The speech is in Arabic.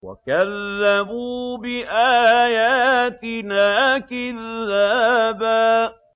وَكَذَّبُوا بِآيَاتِنَا كِذَّابًا